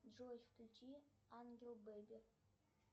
джой включи ангел бэби